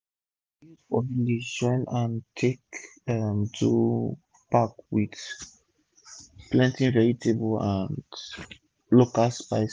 our youth for village join hand take um do food pack wit plenti vegetable and local spice